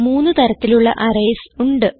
മൂന്ന് തരത്തിലുള്ള അറേയ്സ് ഉണ്ട്